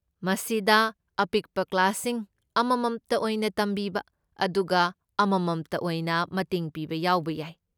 ꯃꯁꯤꯗ ꯑꯄꯤꯛꯄ ꯀ꯭ꯂꯥꯁꯁꯤꯡ, ꯑꯃꯃꯝꯇ ꯑꯣꯏꯅ ꯇꯝꯕꯤꯕ, ꯑꯗꯨꯒ ꯑꯃꯃꯝꯇ ꯑꯣꯏꯅ ꯃꯇꯦꯡ ꯄꯤꯕ ꯌꯥꯎꯕ ꯌꯥꯏ꯫